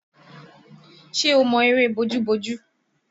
Ṣe o mọ eré bojú-bojú?